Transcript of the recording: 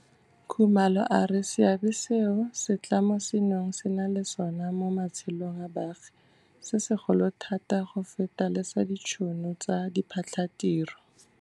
Khumalo a re seabe seo setlamo seno se nang le sona mo matshelong a baagi se segolo thata go feta le sa ditšhono tsa diphatlhatiro.